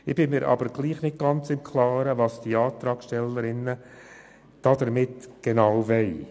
Ich bin mir aber nicht ganz im Klaren, was die Antragstellerinnen und Antragsteller damit genau bezwecken.